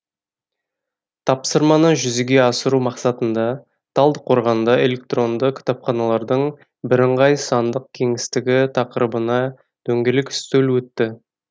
тапсырманы жүзеге асыру мақсатында талдықорғанда электронды кітапханалардың бірыңғай сандық кеңістігі тақырыбынадөңгелек үстел өтті